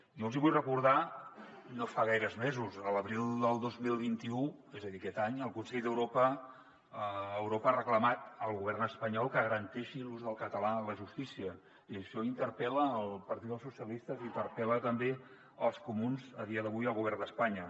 jo els hi vull recordar que no fa gaires mesos l’abril del dos mil vint u és a dir aquest any el consell d’europa ha reclamat al govern espanyol que garanteixi l’ús del català en la justícia i això interpel·la el partit socialistes i interpel·la també els comuns a dia d’avui al govern d’espanya